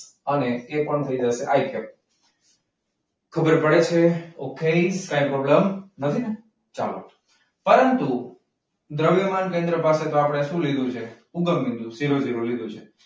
અને એ પણ થઈ જશે . પરંતુ દ્રવ્યમાન કેન્દ્ર માટે આપણે શું લીધું છે? ઉગમ બિંદુ શિરોબિંદુ લીધું છે.